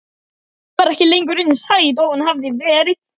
Hún var ekki lengur eins sæt og hún hafði verið.